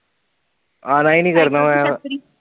ਆਨਾ ਹੀ ਨਹੀਂ ਕਰਨਾ ਮੈਂ ਹੁਣ